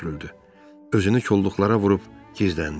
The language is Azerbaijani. Özünü kolluqlara vurub gizləndi.